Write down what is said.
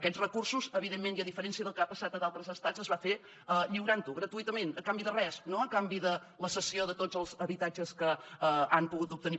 aquests recursos evidentment i a diferència del que ha passat a d’altres estats es van fer lliurant ho gratuïtament a canvi de res no a canvi de la cessió de tots els habitatges que han pogut obtenir